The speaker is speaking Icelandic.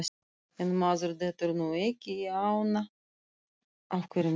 En maður dettur nú ekki í ána á hverjum degi.